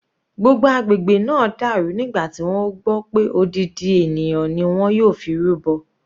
Gbogbo agbègbè náà dàrú nígbà tí wọ́n gbọ́ pé odidi ènìyàn ni wọ́n yóò fi rúbọ.